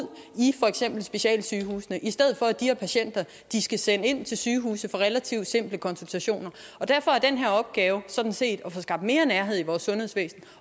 i specialsygehusene i stedet for at de skal sende patienter ind til sygehuse for relativt simple konsultationer derfor er den her opgave sådan set at få skabt mere nærhed i vores sundhedsvæsen